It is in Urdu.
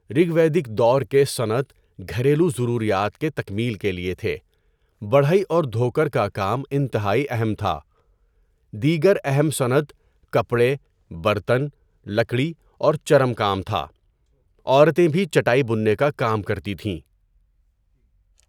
رِگ ویدک دور کے صنعت گھریلو ضروریات کے تکمیل کے لیے تھے۔ بڑھئی اور دھوکر کا کام انتہائی اہم تھا۔ دیگر اہم صنعت کپڑے، برتن، لکڑی اور چرم کام تھا۔ عورتیں بھی چٹائی بننے کا کام کرتی تھیں۔